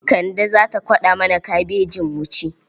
Kande za ta kwaɗa mana kabejin mu ci.